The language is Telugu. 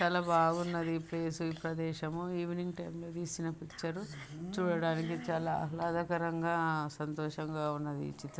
చాలా బాగున్నది ఈ ప్లేస్ ఈ ప్రదేశము ఈవినింగ్ టైం తీసిన పిక్చర్ చూడడానికి చాలా ఆహ్లాదకరంగా ఆ సంతోషంగా ఉన్నది ఈ చిత్రం.